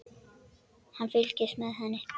En hann fylgist með henni.